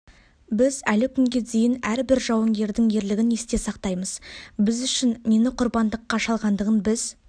біз әлі күнге дейін әрбір жауынгердің ерлігін есте сақтаймыз біз үшін нені құрбандыққа шалғандығын біз